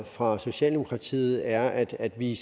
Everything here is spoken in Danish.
fra socialdemokratiet er at vi